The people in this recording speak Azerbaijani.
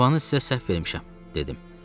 Ünvanı sizə səhv vermişəm, dedim.